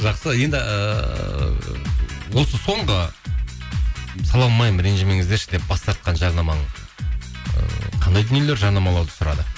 жақсы енді ыыы осы соңғы сала алмаймын ренжімеңіздерші деп бас тартқан жарнамаң ы қандай дүниелер жарнамалауды сұрады